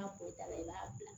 N'a pɔtɔta la i b'a bila